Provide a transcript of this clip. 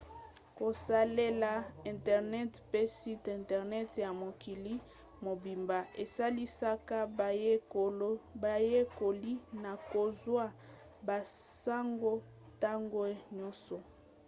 kosalela internet mpe site internet ya mokili mobimba esalisaka bayekoli na kozwa basango ntango nyonso